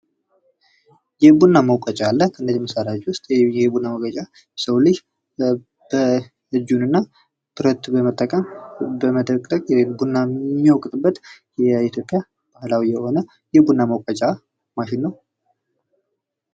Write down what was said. የቡና መውቀጫ የሰው ልጅ ብረት እና እጁን በመጠቀም በመዶግዶግ የሚያገለግል የኢትዮጵያ ባህላዊ የሆነ የቡና መውቀጫ ነው ።